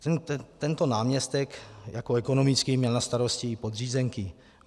Tento náměstek jako ekonomický měl na starosti i podřízenky.